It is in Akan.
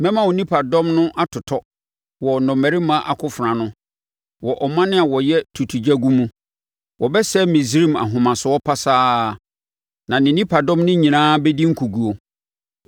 Mɛma wo nipadɔm no atotɔ wɔ nnɔmmarima akofena ano, wɔ aman a wɔyɛ tutugyagu mu. Wɔbɛsɛe Misraim ahomasoɔ pasaa na ne nipadɔm no nyinaa bɛdi nkoguo.